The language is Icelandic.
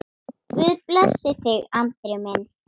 Guð blessi þig, Andri minn.